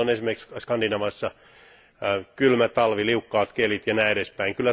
Kun meillä on esimerkiksi Skandinaviassa kylmä talvi, liukkaat kelit ja näin edespäin.